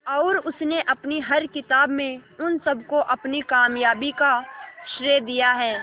और उसने अपनी हर किताब में उन सबको अपनी कामयाबी का श्रेय दिया है